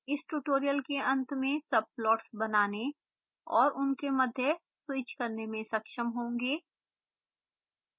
इस ट्यूटोरियल के अंत में subplots बनाने और उनके मध्य स्वीच करने में सक्षम होंगे